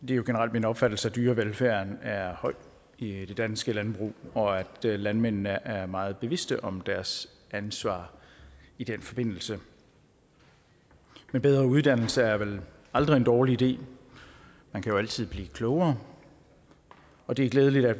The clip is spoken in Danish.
det er generelt min opfattelse at dyrevelfærden er høj i det danske landbrug og at landmændene er meget bevidste om deres ansvar i den forbindelse men bedre uddannelse er vel aldrig en dårlig idé man kan jo altid blive klogere og det er glædeligt at